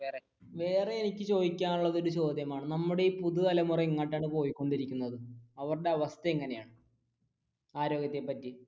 വേറെ എനിക്ക് ചോദിക്കാനുള്ളയൊരു ചോദ്യമാണ് നമ്മുടെ ഈ പുതുതലമുറ എങ്ങോട്ടാണ് പോയിക്കൊണ്ടിരിക്കുന്നത് അവരുടെ അവസ്ഥ എങ്ങനെയാണ് ആരോഗ്യത്തെ പറ്റി